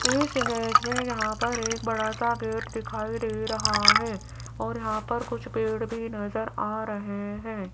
इस इमेज में यहां पर एक बड़ा सा गेट दिखाई दे रहा है और यहां पर कुछ पेड़ भी नजर आ रहे हैं।